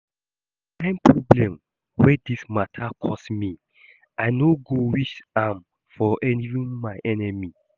The kyn problem wey dis matter cause me, I no go wish am for even my enemy